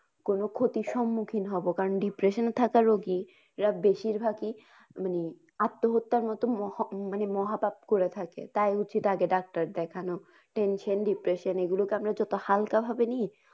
কোনো ক্ষতির সম্মুখীন হব কারণ depression থাকে রোগী এরা বেশিরভাগই মানে আত্যহত্যার মত মহা মানে মহা পাপ করে থাকে। তাই উচিত আগে ডাক্তার দেখানো। tension depression এগুলোকে আমরা যত হালকা ভাবে নিই।